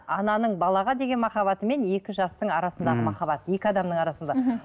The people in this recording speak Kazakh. ананың балаға деген махаббаты мен екі жастың арасындағы махаббат екі адамның арасында мхм